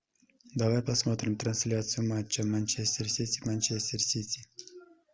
давай посмотрим трансляцию матча манчестер сити манчестер сити